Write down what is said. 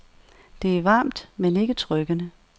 Det er varmt, men ikke trykkende.